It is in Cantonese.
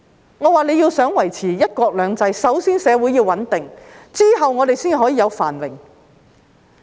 我說，如果大家想維持"一國兩制"，首先社會便要穩定，然後我們才可以有繁榮。